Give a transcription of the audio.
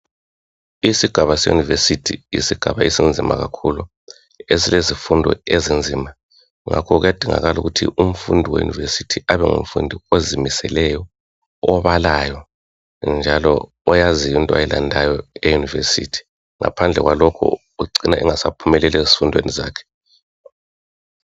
Isigaba se yunivesithi yisigaba esinzima kakhulu silezifundo ezinzima ngakho kuyadingakala ukuthi umfundi we yunivesithi kube ngumfundi ozimiseleyo obalayo njalo oyaziyo into owayilandayo eyunivesithi ngaphandle kwalokho ucina engasaphumeleli ezifundweni zakhe